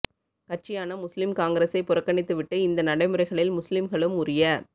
கட்சியான முஸ்லிம் காங்கிரஸை புறக்கணித்து விட்டு இந்த நடைமுறைகளில் முஸ்லிம்களும் உரிய